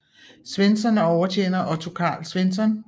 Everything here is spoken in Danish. Svensson og overtjener Otto Carl Svensson